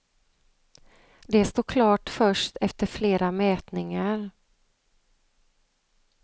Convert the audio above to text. Det står klart först efter flera mätningar.